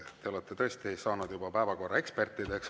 Te olete tõesti saanud juba päevakorra ekspertideks.